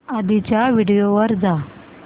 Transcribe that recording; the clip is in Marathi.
आधीच्या व्हिडिओ वर जा